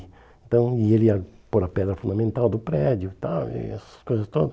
Então e ele ia pôr a pedra fundamental do prédio e tal, e essas coisas todas.